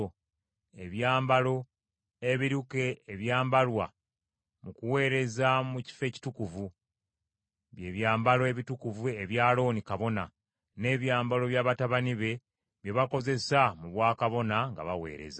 ebyambalo ebiruke ebyambalwa mu kuweereza mu Kifo Ekitukuvu, bye byambalo ebitukuvu ebya Alooni kabona, n’ebyambalo bya batabani be bye bakozesa mu bwakabona nga baweereza.”